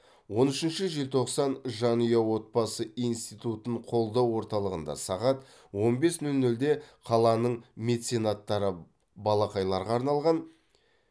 он үшінші желтоқсан жанұя отбасы институтын қолдау орталығында сағат он бес нөл нөлде қаланың меценаттары балақайларға арналған